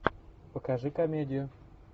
покажи комедию